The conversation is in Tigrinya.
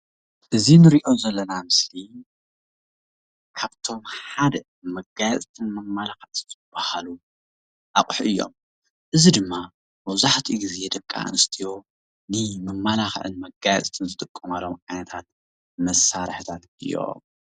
እዚ እንርእዮ ዘለና ምስሊ ካብቶም ሓደ መጋየፂትን መማላክዕትን ዝብሃሉ ኣቁሑ እዮም፡፡ እዚ ድማ መብዛሕቲኡ ግዜ ደቂ ኣነስትዮ ንመማላክዕን ንመጋየፅን ዝጥቀማሉ ዓይነታት መሳርሒታት እዮም፡፡